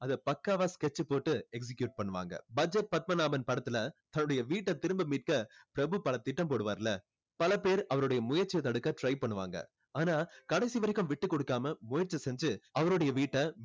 அதை பக்காவா sketch போட்டு execute பண்ணுவாங்க பட்ஜெட் பத்மநாதன் படத்துல அவருடைய வீட்ட திரும்ப மீட்க பிரபு பல திட்டம் போடுவாறுல பல பேர் அவரோட முயற்சியை தடுக்க try பண்ணுவாங்க ஆனா கடைசி வரைக்கும் விட்டு கொடுக்காம முயற்சி செஞ்சு அவருடைய வீட்ட